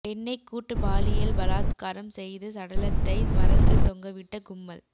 பெண்ணை கூட்டு பாலியல் பலாத்காரம் செய்து சடலத்தை மரத்தில் தொங்கவிட்ட கும்பல்